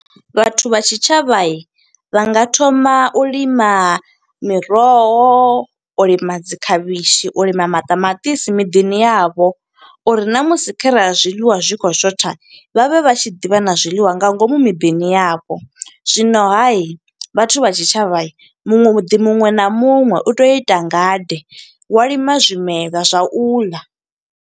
Vhathu vha tshitshavha, vha nga thoma u lima miroho, u lima dzi khavhishi, u lima maṱamaṱisi miḓini yavho. Uri na musi kharali zwiḽiwa zwi khou shotha, vha vhe vha tshi ḓi vha na zwiḽiwa nga ngomu miḓini yavho. Zwino ha i, vhathu vha tshitshavha muṅwe muḓi muṅwe na muṅwe, u tea u ita ngade, wa lima zwimelwa zwa u ḽa.